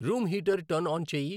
room heater turn on చేయి